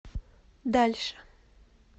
дальше